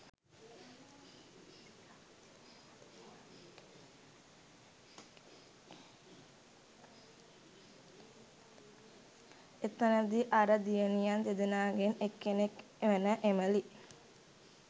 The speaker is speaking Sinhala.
එතනදී අර දියණියන් දෙදෙනාගෙන් එක්කෙනෙක් වන එමලි